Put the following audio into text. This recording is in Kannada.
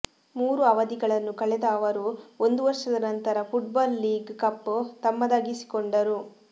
ಮೂರು ಅವಧಿಗಳನ್ನು ಕಳೆದ ಅವರು ಒಂದು ವರ್ಷದ ನಂತರ ಫುಟ್ಬಾಲ್ ಲೀಗ್ ಕಪ್ ತಮ್ಮದಾಗಿಸಿಕೊಂಡರು